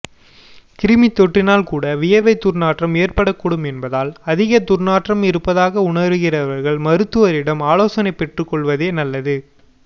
கிருமி தொற்றினால்கூட வியர்வை துர்நாற்றம் ஏற்படக்கூடும் என்பதால் அதிக துர்நாற்றம் இருப்பதாக உணர்கிறவர்கள் மருத்துவரிடம் ஆலோசனை பெற்றுக் கொள்வதே நல்லது